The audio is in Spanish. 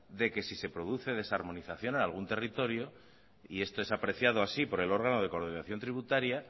de que si se produce desarmonización en algún territorio y esto es apreciado así por el órgano de coordinación tributaria